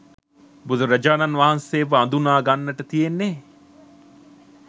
බුදුරජාණන් වහන්සේව අඳුනගන්නට තියෙන්නේ